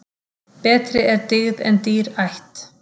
Betri er dyggð en dýr ætt.